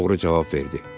Oğru cavab verdi.